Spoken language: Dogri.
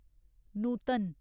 नूतन